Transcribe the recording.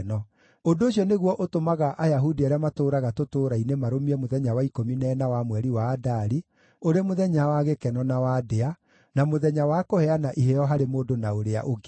Ũndũ ũcio nĩguo ũtũmaga Ayahudi arĩa maatũũraga tũtũũra-inĩ marũmie mũthenya wa ikũmi na ĩna wa mweri wa Adari, ũrĩ mũthenya wa gĩkeno na wa ndĩa, na mũthenya wa kũheana iheo harĩ mũndũ na ũrĩa ũngĩ.